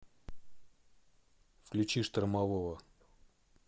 включи штормового